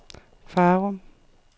Farum